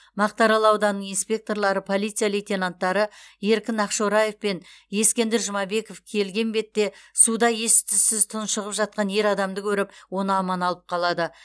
мақтаарал ауданының инспекторлары полиция лейтенанттары еркін ақшораев пен ескендір жұмабеков келген бетте суда ес түссіз тұншығып жатқан ер адамды көріп оны аман алып қалады